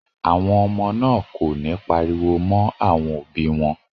Àwọn ọmọ náà kò ní pariwo mọ́ àwọn òbí wọn.